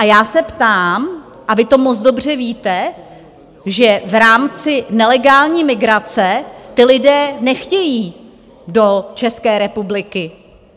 A já se ptám, a vy to moc dobře víte, že v rámci nelegální migrace ti lidé nechtějí do České republiky.